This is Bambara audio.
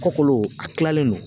Kɔkɔlo a kilalen don